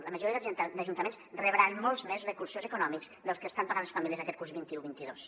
la majoria d’ajuntaments rebran molts més re·cursos econòmics dels que estan pagant les famílies aquest curs vint un·vint dos